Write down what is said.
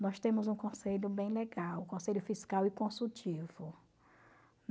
Nós temos um conselho bem legal, o Conselho Fiscal e Consultivo.